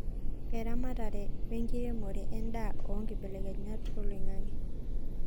Eramatare wenkiremore, en'daa oo inkibelekenyat oo loing'ang'e